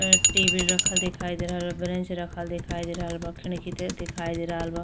ए T V रखल दिखाई दे रहल बा। ब्रेंच रखल दिखाई दे रहल बा। खिड़की त दिखाई दे रहल बा।